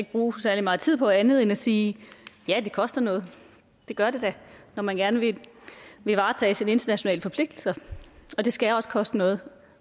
bruge særlig meget tid på andet end at sige ja det koster noget det gør det da når man gerne vil varetage sine internationale forpligtelser og det skal også koste noget